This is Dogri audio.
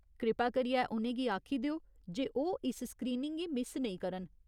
कृपा करियै उ'नें गी आखी देओ जे ओह् इस स्क्रीनिंग गी मिस्स नेईं करन।